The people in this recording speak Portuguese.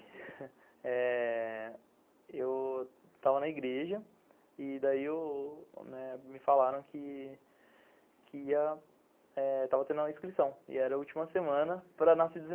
Eh... Eu estava na igreja e daí me falaram que que ia, estava tendo a inscrição e era a última semana para nascidos